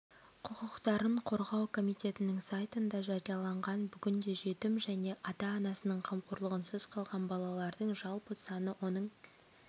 құқықтарын қорғау комитетінің сайтында жарияланған бүгінде жетім жне ата-анасының қамқорлығынсыз қалған балалардың жалпы саны оның